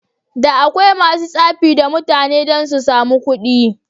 Da akwai masu tsafi da mutane dan susamu kuɗi.